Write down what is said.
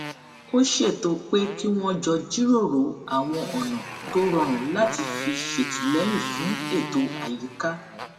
ó ṣètò pé kí wón jọ jíròrò àwọn ònà tó rọrùn láti fi ṣètìléyìn fún ètò àyíká